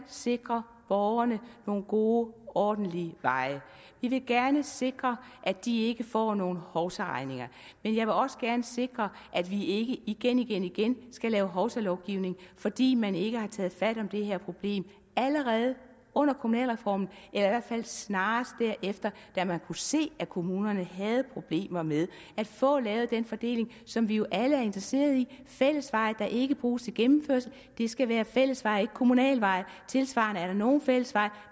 sikre borgerne nogle gode ordentlige veje vi vil gerne sikre at de ikke får nogen hovsaregninger og jeg vil også gerne sikre at vi ikke igen igen igen skal lave hovsalovgivning fordi man ikke har taget fat om det her problem allerede under kommunalreformen eller i hvert fald snarest derefter da man kunne se at kommunerne havde problemer med at få lavet den fordeling som vi jo alle er interesserede i fællesveje der ikke bruges til gennemkørsel skal være fællesveje og ikke kommunale veje tilsvarende er der nogle fællesveje